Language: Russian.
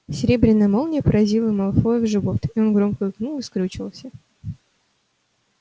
серебряная молния поразила малфоя в живот и он громко икнул и скрючился